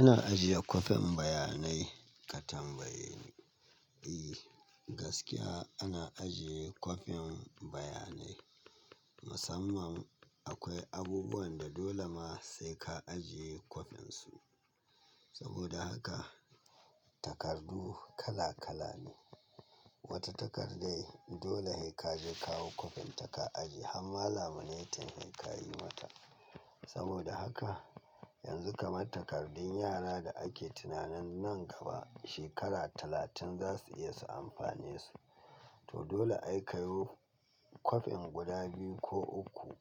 Ina ajiye kwafin bayanai ka tambaye ni. E, gaskiya ana ajiye kwafin bayanai. Musamman akwai abubuwan da dole ma sai ka ajiye kwafinsu. Saboda haka, takardu kala kala ne. Wata takar dai dole sai ka je kawo kwafin ta ka ajiye. Ham ma laminating kayi mata. Saboda haka, yanzu kamar takardun yara da ake tunanin nan gaba shekara talatin za su iya su amfanesu. To dole ai kayo kwafin guda biyu ko uku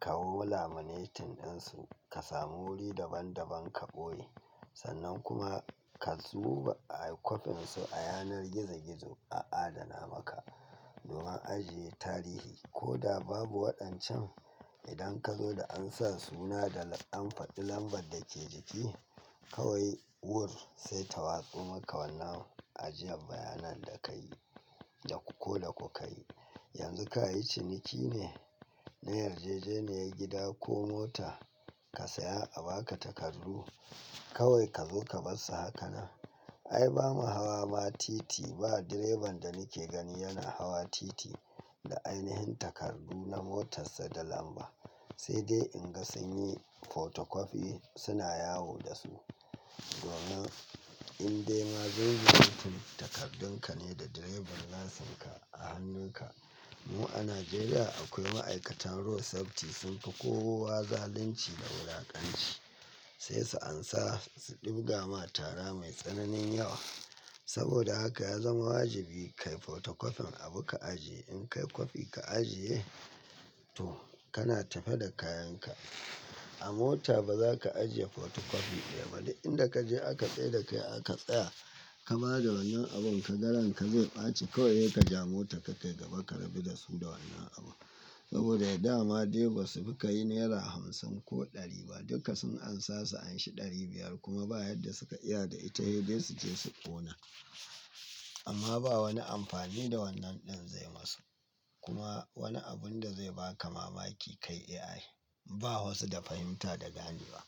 kayo laminating ɗinsu, ka samu wuri daban-daban ka ɓoye. Sannan kuma ka zuba kwafin su a yanar gizo-gizo a adana maka. Domin ajiye tarihi. Ko da babu waɗancan, idan ka zo da an sa suna da an faɗi lambar da ke jiki, kawai wur sai ta watso maka wannan ajiyan bayanan da ka yi, da ku ko da ku ka yi. Yanzu ka yi ciniki ne, na yarjejeniyar gida ko mota, ka saya a ba ka takardu, kawai ka zo ka bar su haka nan. Ai ba mu hawa ma titi ba. Direban da nake gani yana hawa titi da ainihin takardu na motar sa da lamba. Sai dai in ga sun yi photocopy suna yawo da su. Domin in dai ma zunzurutun takardun ka ne da driving license ka a hannun ka, mu a Najeriya akwai ma'aikatan road safety sun fi kowa zalunci da wulaƙanci. Sai su ansa su ɗibga ma tara mai tsananin yawa. Saboda haka ya zama wajibi ka yi photocopin abu ka ajiye. In ka yi kwafi ka ajiye, to kana tafe da kayan ka. A mota ba za ka ajiye photocopy ɗaya ba. Duk inda ka je aka tsai da kai aka tsaya, ka ba da wannan abun kaga ranka zai ɓace. Kawai sai ka ja motan ka kai gaba ka rabu da su da wannan abu. Saboda dama dai ba su fi ka yi naira hamsin ko ɗari ba. Duka sun ansa su anshi ɗari biyar kuma ba yadda suka iya da ita, sai dai su je su ƙona. Amma ba wani amfani da wannan ɗin zai masu. Kuma wani abun da zai ba ka mamaki kai iya yi. Ba wasu da fahimta da gani ba.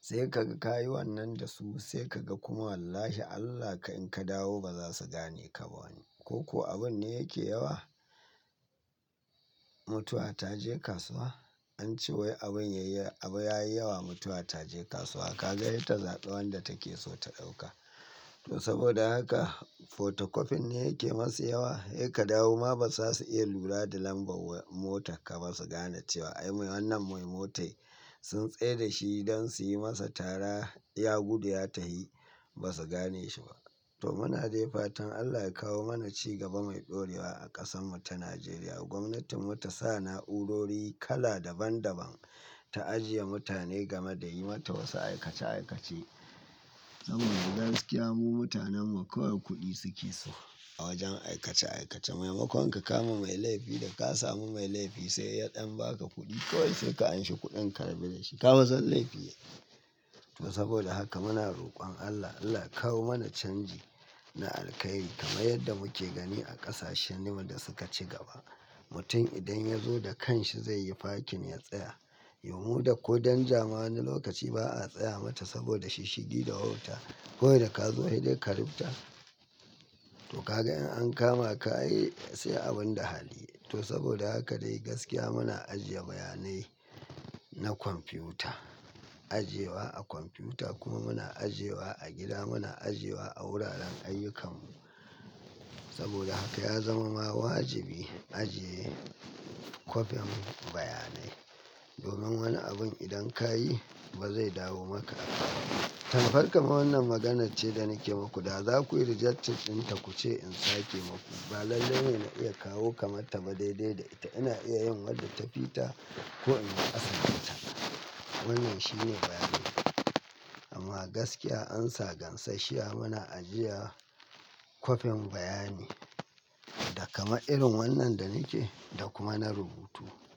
Sai ka ga ka yi wannan da su sai ka ga kuma wallahi Allah kai in ka dawo ba za su gane ka ba. Ko ko abun ne yake yawa? Mutuwa ta je kasuwa? An ce wai abun ya yi, abu ya yi yawa mutuwa ta je kasuwa. Ka ga sai ta zaɓa wanda take so ta ɗauka. To saboda haka photocofin ne yake masu yawa. Sai ka dawo ma ba za su iya lura da lambar motar ka ba su gane cewa ai wannan mai motar sun tsai da shi don su yi masa tara ya gudu ya tahi ba su gane shi ba. To muna dai fatan Allah ya kawo mana ci gaba mai ɗorewa a ƙasan mu ta Najeriya. Gwamnatin mu ta sa na'urori kala daban-daban ta ajiye mutane game da yi mata wasu aikace aikace. Saboda gaskiya mu mutanen mu kawai kuɗi suke so a wajen aikace aikace. Maimakon ka kama mai laifi da ka samu mai laifi sai yaɗan ba ka kuɗi kawai sai ka anshe kuɗin ka rabu da shi. Ka fa san laifi yayi. To saboda haka muna roƙon Allah, Allah ya kawo mana canji na alkhairi kamar yadda muke gani a ƙasashen da suka ci gaba. Mutum idan ya zo da kanshi zai yi parking ya tsaya. Yau mu da ko danja ma wani lokaci ba a tsaya mata saboda shishshigi da wauta. Kawai da ka zo sai dai ka rubta. To ka ga in an kama ka ai sai abun da hali yayi to saboda haka dai gaskiya muna ajiye bayanai na kwamfiyuta. Ajiye wa a kwamfiyuta kuma muna ajiye wa a gida. Muna ajiye wa a wuraren ayyukan mu. Saboda haka ya zama ma wajibi in ajiye kwafin bayanai. Domin wani abun idan ka yi ba zai dawo maka ba albarkan wannan maganar ce da nake muku. Da za ku yi rejecting dinta ku ce in sake maku. Ba lalle ne na iya kawo kamar ta ba daidai da ita. Ina iya yin wadda ta fita ko in yi ƙasa da ita. Wannan shi ne bayani. Amma gaskiya ansa gansashshiya muna ajiya kwafin bayani. Da kaman irin wannan da nike da kuma na rubutu.